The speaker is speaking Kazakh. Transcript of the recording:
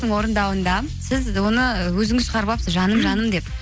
орындауында сіз оны өзіңіз шығарып алыпсыз жаным жаным деп